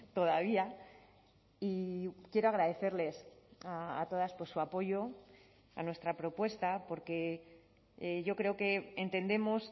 todavía y quiero agradecerles a todas por su apoyo a nuestra propuesta porque yo creo que entendemos